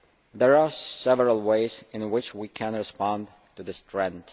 There are several ways in which we can respond to this trend.